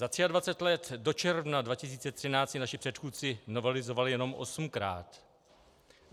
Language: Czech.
Za 23 let do června 2013 ji naši předchůdci novelizovali jenom osmkrát.